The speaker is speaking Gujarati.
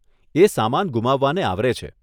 એ સામાન ગુમાવવાને આવરે છે.